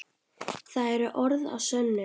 Það eru orð að sönnu.